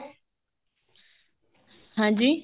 ਹਾਂਜੀ